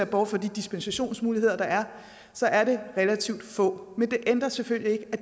bort fra de dispensationsmuligheder der er så er det relativt få men det ændrer selvfølgelig ikke på